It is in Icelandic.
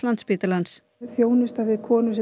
Landspítalans þjónusta við konur